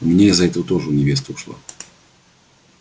у меня из-за этого тоже невеста ушла